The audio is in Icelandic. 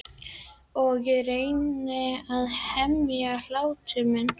Og ég reyni ekki að hemja hlátur minn.